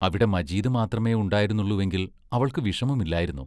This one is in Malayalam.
അവിടെ മജീദ് മാത്രമേ ഉണ്ടായിരുന്നുള്ളുവെങ്കിൽ അവൾക്ക് വിഷമമില്ലായിരുന്നു.